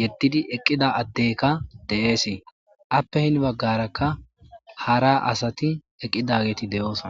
yedidi eqida adeykka de'ese afe hen bagarakka hara asati eqidageti de'eosona